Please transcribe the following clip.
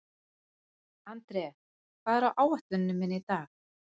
André, hvað er á áætluninni minni í dag?